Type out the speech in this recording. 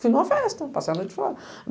Fiz uma festa, passei a noite fora.